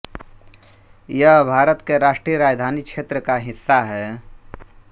यह भारत के राष्ट्रीय राजधानी क्षेत्र का हिस्सा है